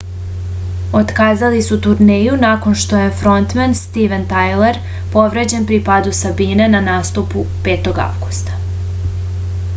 otkazali su turneju nakon što je frontmen stiven tajler povređen pri padu sa bine na nastupu 5. avgusta